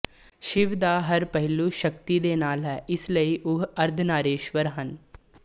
ਸ਼ਿਵ ਦਾ ਹਰ ਪਹਿਲੂ ਸ਼ਕਤੀ ਦੇ ਨਾਲ ਹੈ ਇਸ ਲਈ ਉਹ ਅਰਧਨਾਰੀਸ਼ਵਰ ਹਨ